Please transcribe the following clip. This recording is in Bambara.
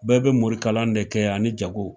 Bɛɛ bɛ morikalan de kɛ ani jako .